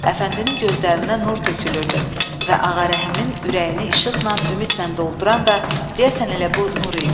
Əfəndinin gözlərindən nur tökülürdü və Ağarəhimin ürəyini işıqla, ümidlə dolduran da, deyəsən elə bu nur idi.